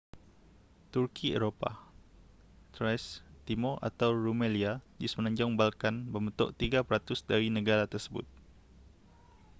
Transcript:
turki eropah thrace timur atau rumelia di semenanjung balkan membentuk 3% dari negara tersebut